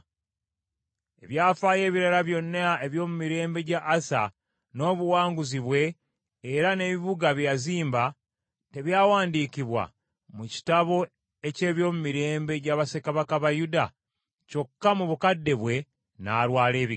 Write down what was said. Ebyafaayo ebirala byonna eby’omu mirembe gya Asa, n’obuwanguzi bwe era n’ebibuga bye yazimba, tebyawandiikibwa mu kitabo eky’ebyomumirembe gya bassekabaka ba Yuda? Kyokka mu bukadde bwe, n’alwala ebigere.